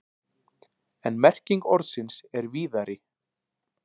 En merking orðsins er víðari.